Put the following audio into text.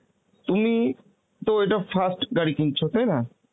তুমি তো এটা first গাড়ি কিনছো তাই না?